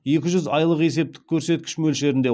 екі жүз айлық есептік көрсеткіш мөлшерінде